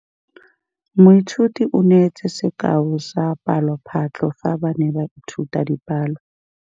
Moithuti o neetse sekaô sa palophatlo fa ba ne ba ithuta dipalo.